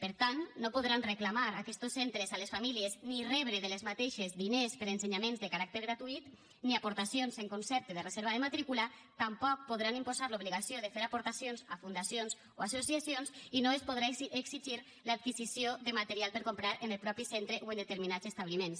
per tant no podran reclamar aquestos centres a les famílies ni rebre d’aquestes diners per a ensenyaments de caràcter gratuït ni aportacions en concepte de reserva de matrícula tampoc podran imposar l’obligació de fer aportacions a fundacions o a associacions i no es podrà exigir l’adquisició de material per a comprar en el mateix centre o en determinats establiments